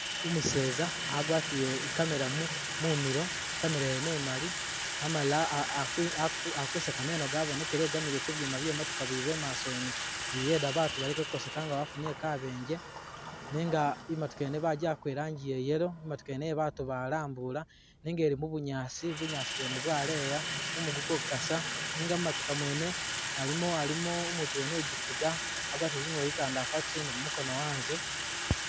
Umuseza agwatile i camera mumilo,i camera yene imali, amalile akuseka meno gabonekele igamile ku byuma bye motoka biba imaso yene biyeda batu baleke kukoseka nga bafunile kabenje nenga imotoka yene bagiwaka i rangi iya yellow, imotoka yene iye ba batu balambula, nenga ili mu bunyaasi, bunyaasi bwene bwaleya, mumu guliko gukasa, nenga mu motoka mwene alimo-alimo umutu wene u gifuga agwatile zingubo zitandafu atusile ni gumukono anze.